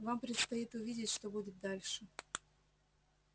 вам предстоит увидеть что будет дальше